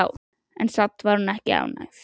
En samt var hún ekki ánægð.